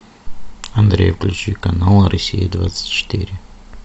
андрей включи канал россия двадцать четыре